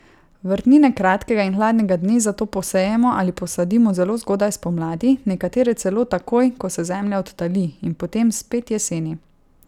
Vrtnine kratkega in hladnega dne zato posejemo ali posadimo zelo zgodaj spomladi, nekatere celo takoj, ko se zemlja odtali, in potem spet jeseni.